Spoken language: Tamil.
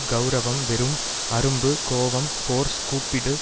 கெளரவம் வெறும் அரும்பு கோபம் ஃபோர்ஸ் கூப்பிடு